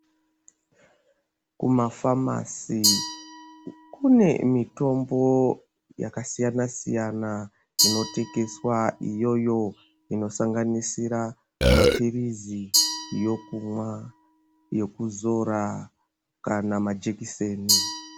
Kuma famasi kune mitombo yakasiyana-siyana inotengeswa iyoyo, inosanganisira mapirizi, yokunwa, yokuzora kana majekiseni.